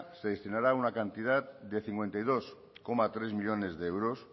se destinará una cantidad de cincuenta y dos coma tres millónes de euros